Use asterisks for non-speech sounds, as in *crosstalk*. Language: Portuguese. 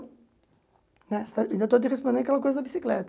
*unintelligible* Ainda estou te respondendo aquela coisa da bicicleta.